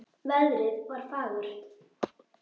Veðrið var fagurt.